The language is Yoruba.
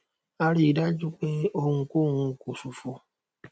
a ríi dájúdájú pé ohun kò hun kò ṣòfò